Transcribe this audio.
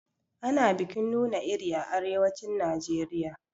Ana bikin nuna iri a arewacin Najeriya.